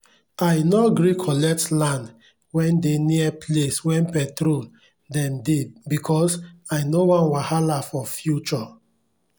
i nor gree collect land wen dey near place wen petrol dem dey becos i nor wan wahala for future